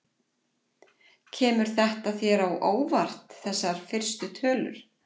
Kemur þetta þér á óvart þessar fyrstu tölur?